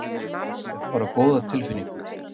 Hef bara góða tilfinningu